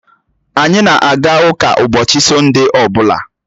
Anyị na-aga ụka ụbọchị Sọnde ọ bụla